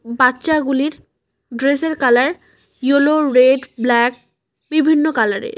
বাচ্চাগুলির dress এর colour yellow red black বিভিন্ন colour এর ।